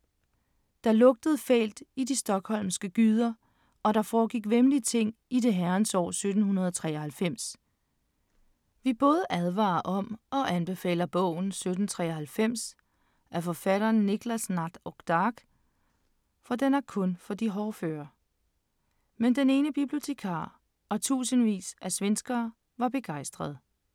Der lugtede fælt i de Stockholmske gyder og der foregik væmmelige ting i det herrens år 1793. Vi både advarer om og anbefaler bogen 1793 af forfatteren Niklas Natt och Dag, for den er kun for hårdføre. Men den ene bibliotekar og tusindvis af svenskere var begejstrede.